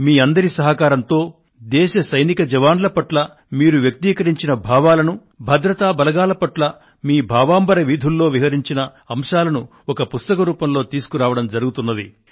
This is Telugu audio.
మీ అందరి సహకారంతో దేశ సైనిక జవాన్ల పట్ల మీరు వ్యక్తీకరించిన భావాలను భద్రతా బలగాల పట్ల మీ భావాంబర వీధుల్లో విహరించిన అంశాలను ఒక పుస్తక రూపంలో తీసుకురావడం జరుగుతున్నది